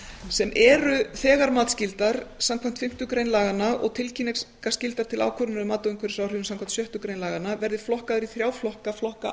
sem eru þegar matsskyldar samkvæmt fimmtu grein laganna og tilkynningarskylda til ákvörðunar um mat á umhverfisáhrifum samkvæmt sjöttu grein laganna verði flokkaðar í þrjá flokka flokka